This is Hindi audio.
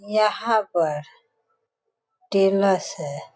यहाँ पर है।